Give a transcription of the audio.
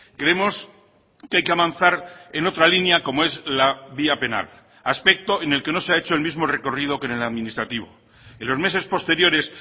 creemos que hay que avanzar en otra línea como es la vía penal aspecto en el que no se ha hecho el mismo recorrido que en el administrativo en los meses posteriores